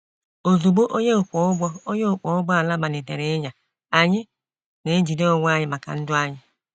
Ozugbo onye ọkwọ ụgbọ onye ọkwọ ụgbọ ala malitere ịnya, anyị na-ejide onwe anyị maka ndụ anyị.